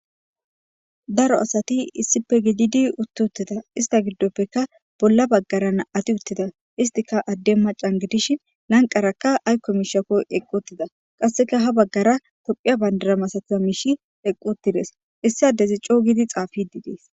Daro asati issippe gididi utti uttida ista giddopekka bolla bagaara na'ati uttida istikka adden macca gidishin lanqerakka aykko miishshakko eqqi uttida qasekka ha bagaara tophphiya bandira misatiza miishshi eqqi uttides issi addezi coo giidi xaafide dees.